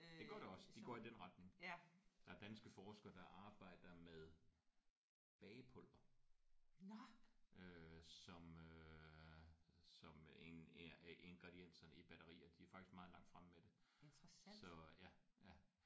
Det gør det også. Det går i den retning. Der er danske forskere der arbejder med bagepulver øh som øh som en en af ingredienserne i batteriet. De er faktisk ret langt fremme med det